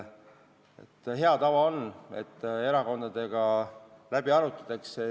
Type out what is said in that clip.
Hea tava on, et erakondadega arutatakse asi läbi.